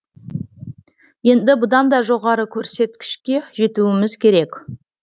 енді бұдан да жоғары көрсеткішке жетуіміз керек